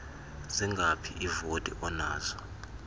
zingaphi iivoti onazo